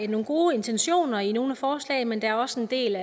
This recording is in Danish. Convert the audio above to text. nogle gode intentioner i nogle af forslaget men der er også en del